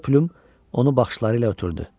Qoca Plum onu baxışları ilə ötürdü.